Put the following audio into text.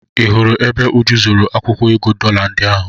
Ị hụla ebe Uju zoro akwụkwọ ego dọla ndị ahụ?